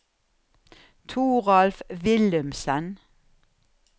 Thoralf Willumsen